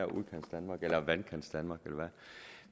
udkantsdanmark eller vandkantsdanmark eller